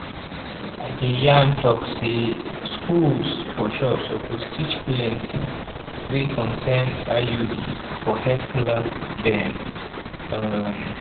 i de yan tok say schools for sure suppose teach plenti wey concern iuds for health class dem um